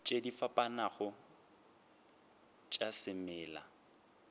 tše di fapanego tša semela